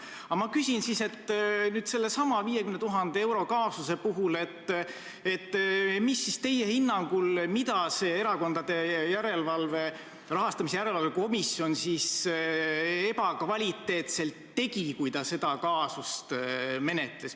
Mida siis nüüd teie hinnangul sellesama 50 000 euro kaasuse puhul see Erakondade Rahastamise Järelevalve Komisjon ebakvaliteetselt tegi, kui ta seda kaasust menetles?